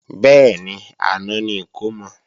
Bẹ́ẹ̀ni, àná ni ìkómọ